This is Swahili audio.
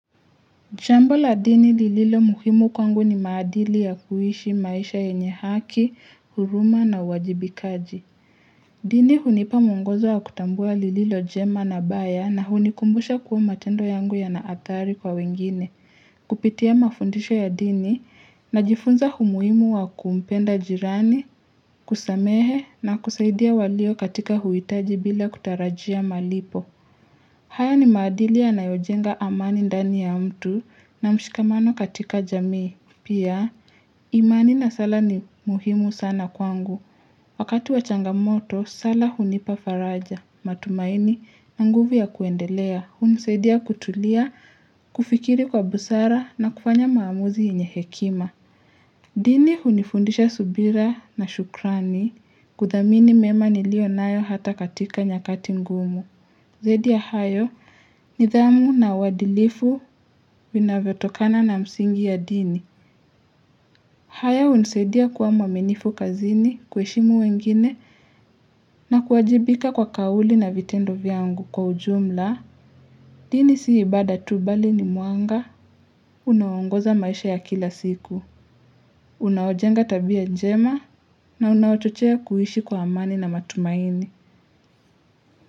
Chambo la dini lililomuhimu kwangu ni maadili ya kuishi maisha yenye haki, huruma na uwajibikaji. Dini hunipa mungozo ya kutambua lililojema na baya na hunikumbusha kuwa matendo yangu yana athari kwa wengine. Kupitia mafundisho ya dini najifunza humuhimu wa kumpenda jirani, kusamehe na kusaidia walio katika huhitaji bila kutarajia malipo. Haya ni maadili yanayojenga amani ndani ya mtu na mshikamano katika jamii. Pia, imani na sala ni muhimu sana kwangu. Wakati wa changamoto, sala hunipa faraja. Matumaini, na nguvu ya kuendelea. Hunisadia kutulia, kufikiri kwa busara na kufanya maamuzi yenye hekima. Dini hunifundisha subira na shukrani kuthamini mema niliyonayo hata katika nyakati ngumu. Zaidi ya hayo, nidhamu na uadilifu vinavyotokana na msingi ya dini. Haya hunisaidia kuwa mwaminifu kazini kuheshimu wengine na kuajibika kwa kauli na vitendo vyangu kwa ujumla. Dini si ibada tu, bali ni mwanga, unaoongoza maisha ya kila siku, unaojenga tabia jema na unaochochea kuishi kwa amani na matumaini.